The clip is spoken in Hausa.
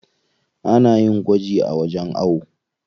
Ana yin gwaji a wajen ayo.